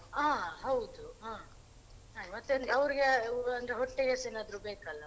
ಹ ಹೌದು ಹ ಮತ್ತೆ ಅವ್ರಿಗಂದ್ರೆ ಅವ್ರಿಗೆ ಹೊಟ್ಟೆಗೆಸ ಏನಾದ್ರು ಬೇಕಲ್ಲ.